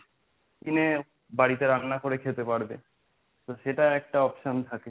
কিনে বাড়িতে রান্না করে খেতে পারবে তো সেটার একটা option থাকে।